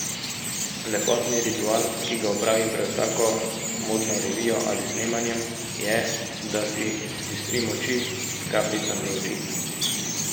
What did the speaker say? Lepotni ritual, ki ga opravim pred vsako modno revijo ali snemanjem, je, da si zbistrim oči s kapljicami za oči.